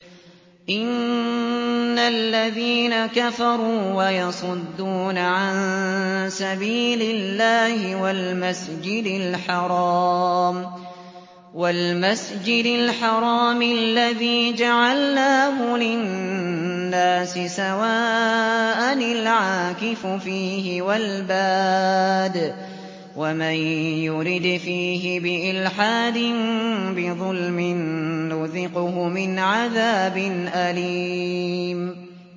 إِنَّ الَّذِينَ كَفَرُوا وَيَصُدُّونَ عَن سَبِيلِ اللَّهِ وَالْمَسْجِدِ الْحَرَامِ الَّذِي جَعَلْنَاهُ لِلنَّاسِ سَوَاءً الْعَاكِفُ فِيهِ وَالْبَادِ ۚ وَمَن يُرِدْ فِيهِ بِإِلْحَادٍ بِظُلْمٍ نُّذِقْهُ مِنْ عَذَابٍ أَلِيمٍ